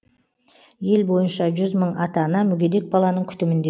ел бойынша жүз мың ата ана мүгедек баланың күтімінде